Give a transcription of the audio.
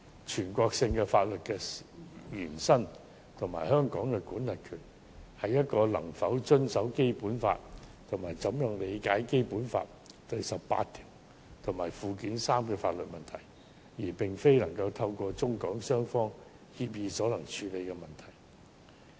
全國性法律的延伸與香港的管轄權是否能遵守《基本法》及如何理解《基本法》第十八條和附件三的法律問題，並非透過中港雙方協議所能處理的問題。